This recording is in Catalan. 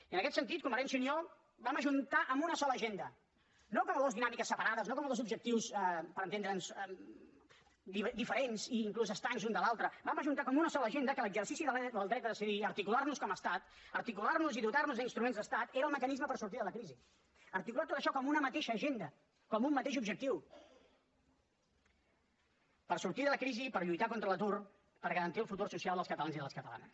i en aquest sentit convergència i unió vam ajuntar en una sola agenda no com a dues dinàmiques separades no com a dos objectius per entendre’ns diferents i inclús estranys un de l’altre vam ajuntar com una sola agenda que l’exercici del dret a decidir a articular nos com a estat a articular nos i dotar nos d’instruments d’estat era el mecanisme per sortir de la crisi a articular tot això com una mateixa agenda com un mateix objectiu per sortir de la crisi i per lluitar contra l’atur per garantir el futur social dels catalans i de les catalanes